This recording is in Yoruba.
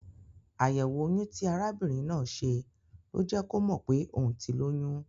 Àyẹ̀wò oyun ti arabìnrin náà ṣe ló jẹ́ kò mọ̀ pé òun ti lóyún.